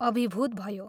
अभिभूत भयो।